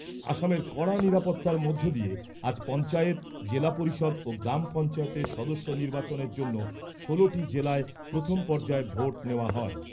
আসামের কড়া নিরাপত্তার মধ্য দিয়ে আজ পঞ্চায়েত, জেলা পরিষদ ও গ্রাম পঞ্চায়েতের সদস্য নির্বাচনের জন্য ষোলোটি জেলায় প্রথম পর্যায়ে ভোট নেওয়া হয়।